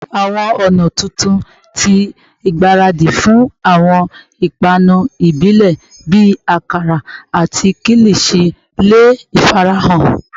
Awọn ọna tuntun ti igbaradi fun awọn ipanu ibile bii akara ati kilichi le farahan